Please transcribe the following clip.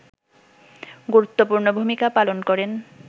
গুরুত্বপূর্ণ ভূমিকা পালন করেন